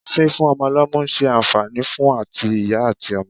Fífún ọmọ lọ́mú ń ṣe àǹfààní fún àti ìyá àti ọmọ.